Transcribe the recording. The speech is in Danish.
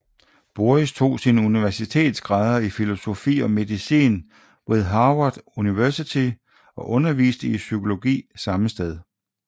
Boris tog sine universitetsgrader i filosofi og medicin ved Harvard University og underviste i psykologi samme sted